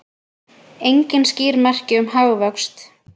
Engin skýr merki um hagvöxt